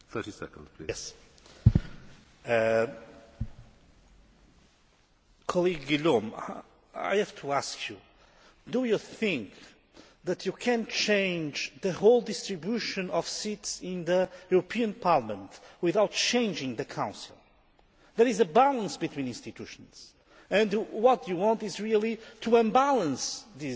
Ms Guillaume, I have to ask you, do you think that you can change the whole distribution of seats in the European Parliament without changing the Council? There is a balance between institutions, and what you want is really to unbalance this